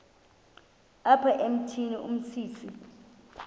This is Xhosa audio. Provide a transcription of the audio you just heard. apha emithini umsintsi